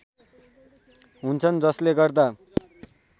हुन्छन् जसले गर्दा